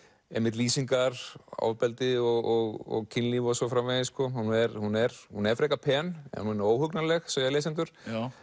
einmitt lýsingar ofbeldi og kynlíf og svo framvegis hún er hún er hún er frekar pen en hún er óhugnanleg segja lesendur